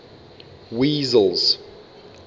wessels